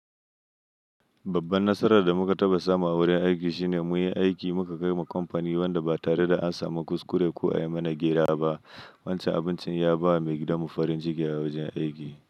Babban nasarar da muka taɓa samu a wurin aiki shine mu yi aiki muka kai wa kamfani wanda ba tare da an samu kuskure ko a yi mana gera ba. Wancan abincin ya ba wa mai gidan mu farin ciki a wajen aiki.